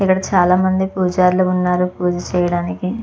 ఇక్కడ చాలా మంది పూజారులు ఉన్నారు పూజ చేయడానికి.